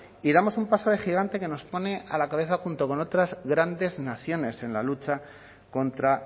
y damos un paso de gigante que nos pone a la cabeza junto con otras grandes naciones en la lucha contra